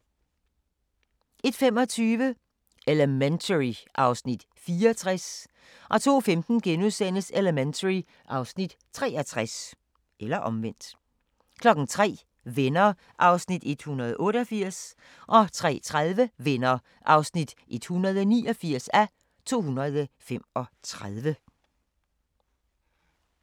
01:25: Elementary (Afs. 64) 02:15: Elementary (Afs. 63)* 03:00: Venner (188:235) 03:30: Venner (189:235)